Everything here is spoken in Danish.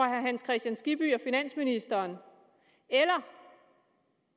herre hans kristian skibby og finansministeren eller